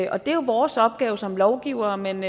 og det er jo vores opgave som lovgivere men